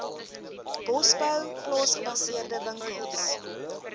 bosbou plaasgebaseerde winkels